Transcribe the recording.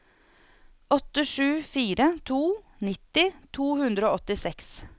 åtte sju fire to nitti to hundre og åttiseks